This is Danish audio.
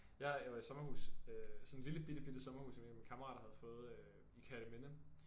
Ja jeg var i sommerhus øh sådan et lille bitte bitte sommerhus som en af mine kammerater havde fået øh i Kerteminde